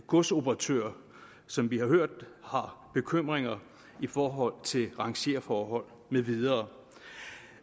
godsoperatører som vi har hørt har bekymringer i forhold til rangerforhold med videre